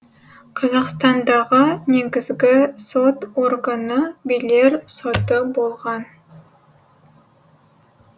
қазақстандағы негізгі сот органы билер соты болған